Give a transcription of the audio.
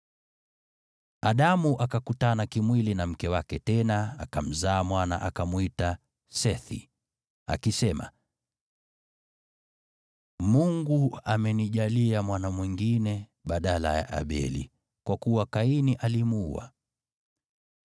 Adamu akakutana kimwili na mke wake tena, akamzaa mwana, akamwita Sethi, akisema, “Mungu amenijalia mwana mwingine badala ya Abeli, kwa kuwa Kaini alimuua.”